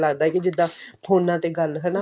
ਲੱਗਦਾ ਵੀ ਜਿਦਾਂ ਫੋਨਾ ਤੇ ਗੱਲ ਹਨਾ